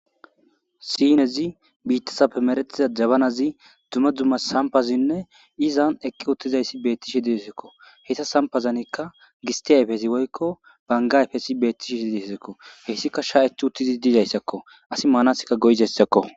sinezi, biittazape meretiza jabanazi, dumma dumma sampazinne izan ekki uttizayssi beettishi diesakko heyta sampazanikka gistia yfesi woykko bangayfesi beettishi hi difesakko heyssika sha7ethi uttizi diizayssakko asi maanaskka goyzayssakko